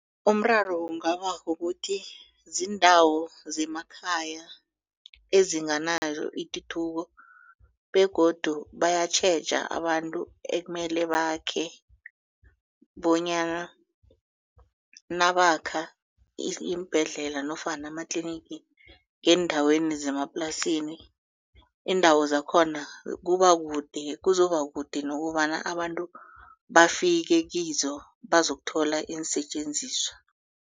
Umraro kungaba kukuthi ziindawo zemakhaya ezinganayo ituthuko begodu bayatjheja abantu ekumele bakhe bonyana nabakha iimbhedlela nofana amatlinigi ngeendaweni zemaplasini iindawo zakhona kuba kude kuzoba kude nokobana abantu bafike kizo bazokuthola iinsetjenziswa.